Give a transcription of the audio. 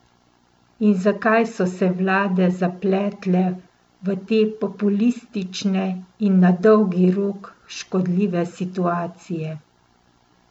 In zakaj so se vlade zapletale v te populistične in na dolgi rok škodljive situacije?